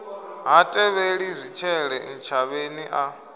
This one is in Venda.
ha tevheli zwitshele ntshavheni a